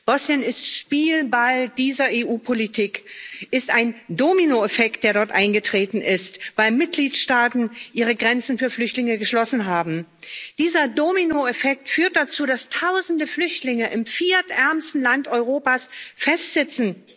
Bosnien ist Spielball dieser EU Politik. Es ist ein Dominoeffekt, der dort eingetreten ist, weil Mitgliedstaaten ihre Grenzen für Flüchtlinge geschlossen haben. Dieser Dominoeffekt führt dazu, dass Tausende Flüchtlinge im viertärmsten Land Europas festsitzen.